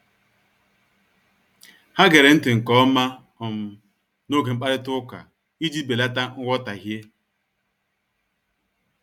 Ha gere nti nke ọma um n'oge mkparịta ụka iji belata nghọtahie. um